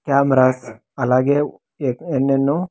Cameras అలాగే ఏ-- ఎన్నెన్నో.